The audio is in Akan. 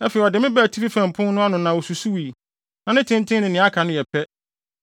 Afei ɔde me baa atifi fam pon no ano na osusuwii. Na ne tenten ne nea aka no yɛ pɛ,